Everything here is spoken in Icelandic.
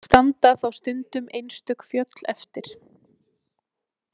Standa þá stundum einstök fjöll eftir.